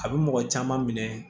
A bɛ mɔgɔ caman minɛ